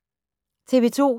TV 2